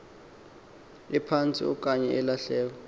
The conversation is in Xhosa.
ephantsi okanye ilahleko